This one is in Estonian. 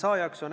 Aga panen ...